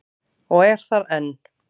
Og er þar enn.